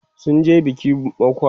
sunje biki mokwa